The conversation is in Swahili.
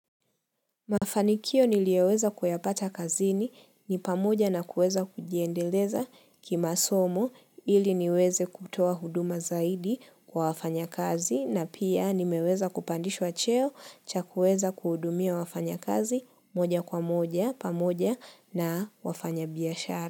Mafanikio niliyoweza kuyapata kazini ni pamoja na kuweza kujiendeleza kima somo ili niweze kutoa huduma zaidi kwa wafanya kazi na pia nimeweza kupandishwa cheo cha kueza kuhumia wafanya kazi moja kwa moja pamoja na wafanya biashara.